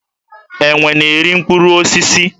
Enwe na-eri mkpụrụ osisi.